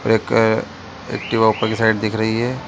एक एक्टिवा दिख रही है।